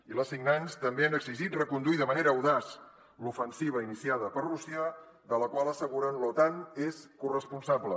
i les signants tam·bé han exigit reconduir de manera audaç l’ofensiva iniciada per rússia de la qual asseguren l’otan és corresponsable